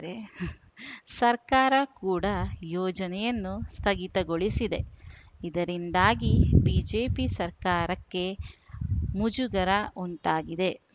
ಸರ್ಕಾರ ಕೂಡ ಯೋಜನೆಯನ್ನು ಸ್ಥಗಿತಗೊಳಿಸಿದೆ ಇದರಿಂದಾಗಿ ಬಿಜೆಪಿ ಸರ್ಕಾರಕ್ಕೆ ಮುಜುಗರ ಉಂಟಾಗಿದೆ